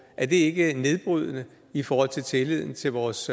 er det ikke nedbrydende i forhold til tilliden til vores